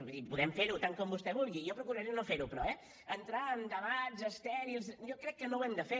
vull dir podem fer ho tant com vostè vulgui jo procuraré no fer ho però eh entrar en debats estèrils jo crec que no ho hem de fer